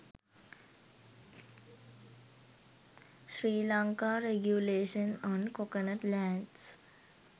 sri lanka regulation on coconut lands